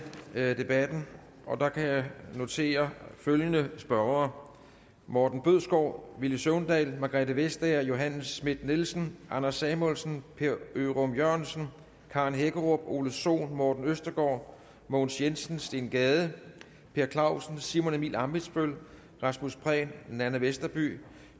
debatten og der kan jeg notere følgende spørgere morten bødskov villy søvndal margrethe vestager johanne schmidt nielsen anders samuelsen per ørum jørgensen karen hækkerup ole sohn morten østergaard mogens jensen steen gade per clausen simon emil ammitzbøll rasmus prehn nanna westerby